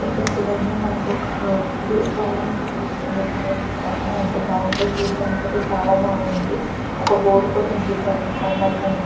ఇక్కడ చూడండి మనకు ఒక భవనం కనిపిస్తుంది . ఇక్కడ చూశారా ఎంత బాగుందో చూడ్డానికి అయితే చాలా బాగుంది. ఒక బోర్డు కూడా ఉంది. కరెంటు స్తంభాలు కనిపి--